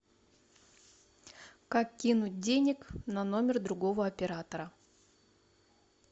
как кинуть денег на номер другого оператора